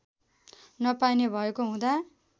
नपाइने भएको हुँदा